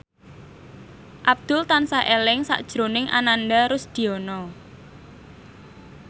Abdul tansah eling sakjroning Ananda Rusdiana